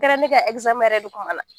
Kɛra ne ka yɛrɛ de kuma la